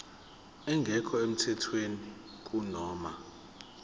engekho emthethweni kunoma